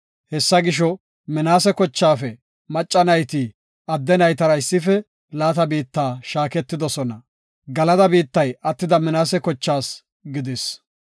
Hessa gisho, Minaase kochaafe macca nayti adde naytara issife laata biitta shaaketidosona. Galada biittay attida Minaase kochaas gidis.